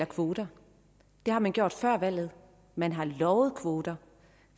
kvoter det har man gjort før valget man har lovet kvoter